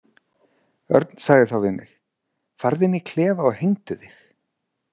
Örn sagði þá við mig: „Farðu inn í klefa og hengdu þig“.